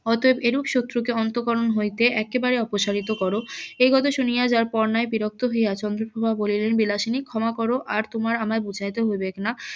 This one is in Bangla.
অতএব এরূপ শত্রূ কে অন্তঃকরণ হইতে একেবারে অপসারিত করো এই কথা শুনিয়া যার পর নাই বিরক্ত হইয়া চন্দ্রপ্রভা বলিলেন বিলাসিনী ক্ষমা করো আর তোমার আমাকে বুঝাইতে হইবেক না